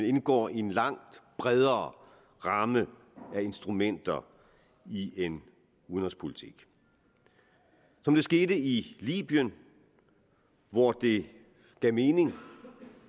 indgår i en langt bredere ramme af instrumenter i en udenrigspolitik det skete i libyen hvor det gav mening